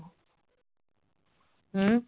ਹਮ